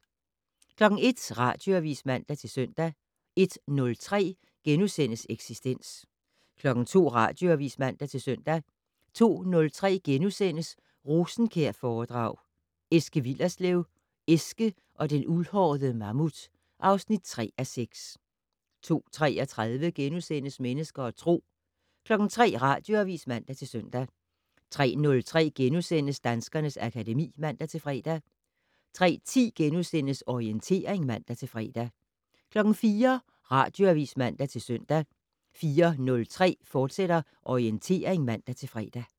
01:00: Radioavis (man-søn) 01:03: Eksistens * 02:00: Radioavis (man-søn) 02:03: Rosenkjærforedrag: Eske Willerslev - Eske og den uldhårede mammut (3:6)* 02:33: Mennesker og Tro * 03:00: Radioavis (man-søn) 03:03: Danskernes akademi *(man-fre) 03:10: Orientering *(man-fre) 04:00: Radioavis (man-søn) 04:03: Orientering, fortsat (man-fre)